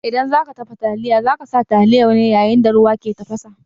In za ka dafa taliya, za ka sa taliyar ne yayin da ruwa ke tafasa.